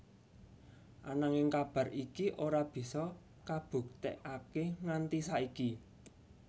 Ananging kabar iki ora bisa kabuktekaké nganti saiki